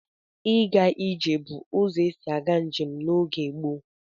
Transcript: Ịga ije bụ ụzọ esi aga njem n'oge gboo.